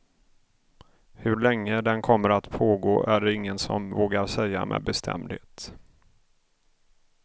Hur länge den kommer att pågå är det ingen som vågar säga med bestämdhet.